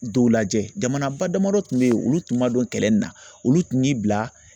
Dɔw lajɛ jamanaba damadɔ tun bɛ yen olu tun ma don kɛlɛ in na olu tun y'i bila